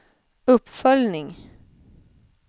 uppföljning